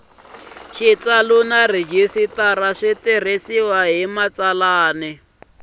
na rhejisitara swi tirhisiwile hi